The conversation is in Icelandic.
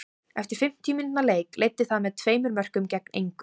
Eftir fimmtíu mínútna leik leiddi það með tveimur mörkum gegn engu.